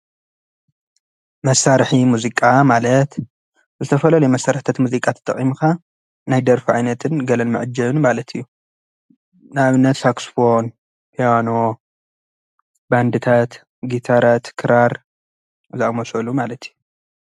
መሳሪሒ ሙዚቃ ማለት ብዝተፈላለዩ መሳሪሒ ሙዚቃ ተጠቂምካ ናይ ደርፊ ዓይነት ገለ መዐጀብን ማለት እዩ። ንአብነት ሳክስ ፎን፣ ፒያኖ ፣ባንድታት፣ ጊታራት ፣ክራር ዝአመሰሉ ማለት እዩ፡፡